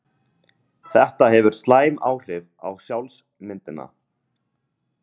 Þetta hefur slæm áhrif á sjálfsmyndina.